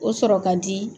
O sɔrɔ ka di